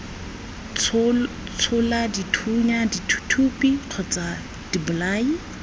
tshola dithunya dithuthupi kgotsa dibolai